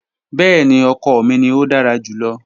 Bẹẹni, ọkọ mi ni o dara julọ.